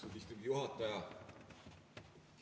Austatud istungi juhataja!